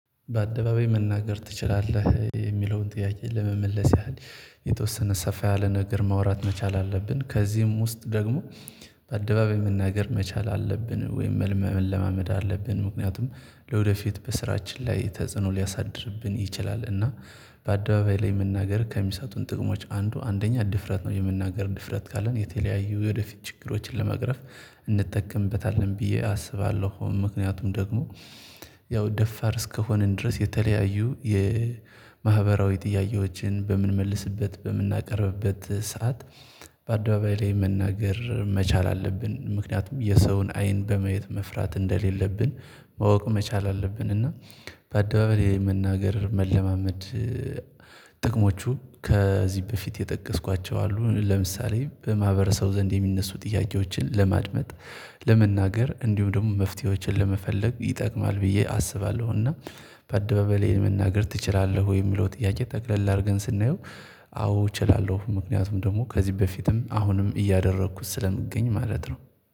በአደባባይ መናገር ትችላለህ የሚለውን ጥያቄ ለመመለስ ያህል የተወሰነ ሰፋ ያለ ነገር ማውራት መቻል አለብን። ከዚህም ውስጥ ደግሞ በአደባባይ መናገር መቻል አለብን ወይም መለማመድ አለብን። ምክንያቱም ለወደፊት በስራችን ላይ ተጽዕኖ ሊያሳድርብን ይችላል። እና በአደባባይ ላይ መናገር ከሚሳጡን ጥቅሞች አንዱ አንደኛ ድፍረት ነው። የመናገር ድፍረት ካለን የተለያዩ ወደፊት ችግሮችን ለመቅረፍ እንጠቀምበታለን ብዬ አስባለሁ። ምክንያቱም ደግሞ ያው ደፋር እስከሆነን ድረስ የተለያዩ የማህበራዊ ጥያቄዎችን በምንመልስበት በምናቀርብበት ሰዓት። በአደባባይ ላይ መናገር መቻል አለብን ምክንያቱም የሰውን አይን በማየት መፍራት እንደሌለብን ማወቅ መቻል አለብን። እና በአደባባይ መናገር መለማመድ። ጥቅሞቹ ከዚህ በፊት የጠቀስኳቸው አሉ። ለምሳሌ በማህበረሰቡ ዘንድ የሚነሱ ጥያቄዎችን ለማድመጥ ለመናገር እንዲሁ ደግሞ መፍትሄዎችን ለመፈለግ ይጠቅማል። ብዬ አስባለሁና በአደባባይ ላይ መናገር ትችላለህ? ወይ የሚለው ጥያቄ ጠቅለል ላድርገን ስናየው። አዎ እችላለሁ ምክንያቱም ደግሞ ከዚህ በፊትም አሁንም እያደረኩት ስለምገኝ ማለት ነው።